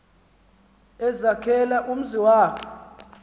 ezakhela umzi wakhe